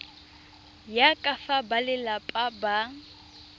ya ka fa balelapa ba